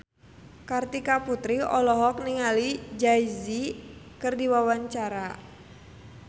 Kartika Putri olohok ningali Jay Z keur diwawancara